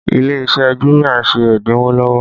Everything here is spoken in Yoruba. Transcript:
Ilé iṣẹ́ jumia ń ṣe ẹ́dínwó lọ́wọ́